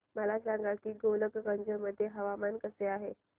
मला सांगा की गोलकगंज मध्ये हवामान कसे आहे